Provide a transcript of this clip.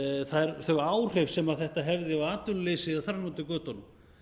reiknuð þau áhrif sem þetta hefði á atvinnuleysið eða þar fram eftir götunum